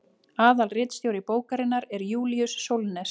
aðalritstjóri bókarinnar er júlíus sólnes